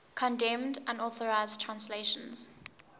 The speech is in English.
condemned unauthorized translations